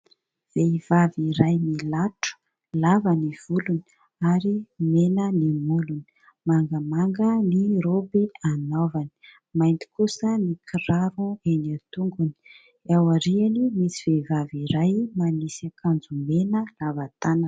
Vehivavy iray milatro, lava ny volony ary mena ny molony, mangamanga ny raoby anaovany, mainty kosa ny kiraro eny an-tongony, eo aoriany misy vehivavy iray manisy akanjo mena lava tanana.